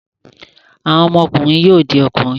Àwọn ọmọkùnrin yóò di ọkùnrin.